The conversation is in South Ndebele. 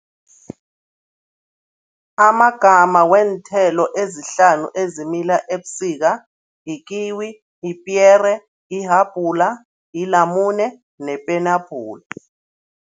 Amagama weenthelo ezihlanu ezimila ebusika yikiwi, yipiyere, ihabhula, yilamune nepenabhula.